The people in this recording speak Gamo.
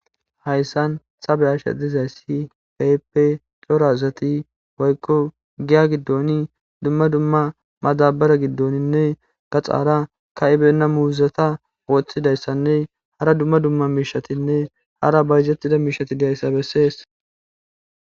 Hayisan ta be'ashe dizayis kehipe coora asati woyiko giyagidon duma duma madabare gidonine gaxara kaibeyina muzeta woxidaysanee hara duma duma mishetinee eyara bayizetida misheti deyisa beses